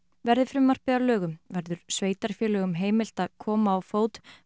verði frumvarpið að lögum verður sveitarfélögum heimilt að koma á fót